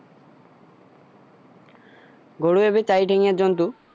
গৰু এবিধ চাৰি ঠেঙীয় জন্তু